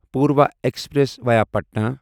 Purva express via Patna